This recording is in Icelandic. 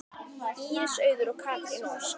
Íris Auður og Katrín Ósk.